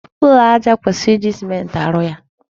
Ụlọ aja kwesịrị iji sèmenti arụ ya.